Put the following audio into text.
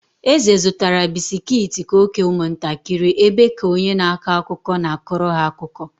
Eze zụtara bisikiiti ka ọ kee ụmụntakịrị ebe ka onye na-akọ akụkọ na-akọrọ ha akụkọ.